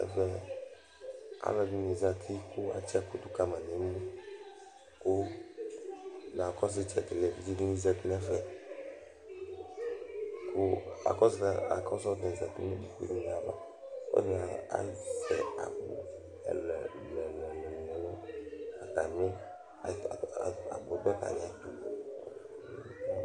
Ɛvɛ alʋ ɛdɩnɩ zǝtɩ kʋ atsi ɛkʋ dʋ kama nʋ ʋlɩ Kʋ evidze dɩnɩ zǝtɩ nʋ ɩtsɛdɩ nʋ ɛfɛ Nu atami ɩtsɛdɩ alu ɛdɩnɩ nʋ ikpoku ava kʋ atani azɛ akpo ɛlʋɛlʋ ɛlʋɛlʋ Agbo dɩ dʋ atami alɔnʋ